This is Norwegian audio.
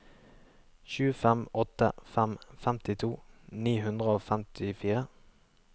sju fem åtte fem femtito ni hundre og femtifire